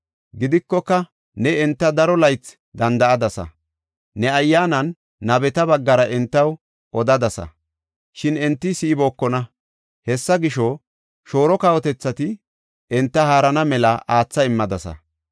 Gidikoka ne enta daro laythi danda7adasa; ne Ayyaanan nabeta baggara entaw odadasa, shin enti si7ibookona. Hessa gisho, shooro kawotethati enta haarana mela aatha immadasa.